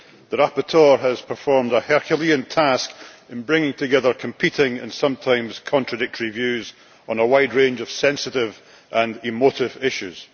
The rapporteur has performed a Herculean task in bringing together competing and sometimes contradictory views on a wide range of sensitive and emotive issues.